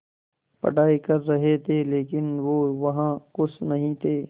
पढ़ाई कर रहे थे लेकिन वो वहां ख़ुश नहीं थे